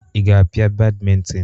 Ị ga-apia badminton?